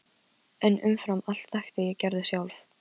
En umfram allt þekkti ég Gerði sjálf.